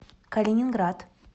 калининград